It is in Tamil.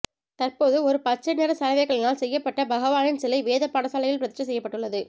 தற்போது ஒரு பச்சை நிற சலவைக்கல்லினால் செய்யப்பட்ட பகவானின் சிலை வேத பாடசாலையில் பிரதிஷ்டை செய்யப்பட்டுள்ளது